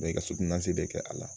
i ka de kɛ a la